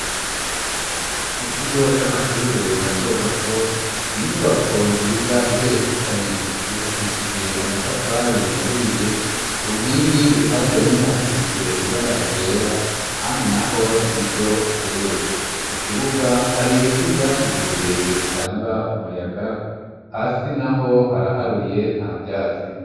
Mu kigo c'amashure mato mato ni inyubako nziza igeretse kabiri yubakishije amatafari ahiye ku nkingi uruhande rumwe hasize ibara ryera ahandi naho n' iryubururu mu kibuga hari ibiti vyakuze bire bire bitanga umuyaga hasi naho haraharuye nta vyatsi.